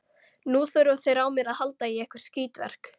Nú þurfa þeir á mér að halda í eitthvert skítverk.